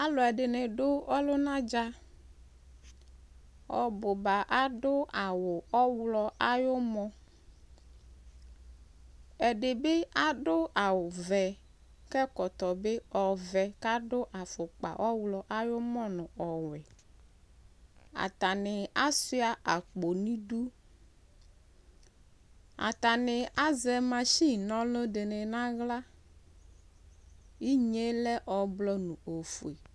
Alʋɛdɩnɩ dʋ ɔlʋna dza Ɔbʋ ba adʋ awʋ ɔɣlɔ ayʋ ɔmɔ Ɛdɩ bɩ adʋ awʋvɛ kʋ ɛkɔtɔ bɩ ɔvɛ kʋ adʋ afʋkpa ɔɣlɔ ayʋ ʋmɔ nʋ ɔwɛ Atanɩ asʋɩa akpo nʋ idu Atanɩ azɛ masin na ɔlʋ dɩnɩ nʋ aɣla Inye yɛ lɛ ɔblɔ nʋ ofue